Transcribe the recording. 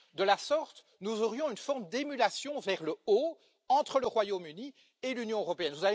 De la sorte, nous aurions une forme d'émulation vers le haut entre le Royaume Uni et l'Union européenne.